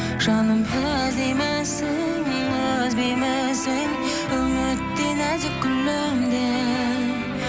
жаным іздеймісің үзбеймісің үміттей нәзік гүліңді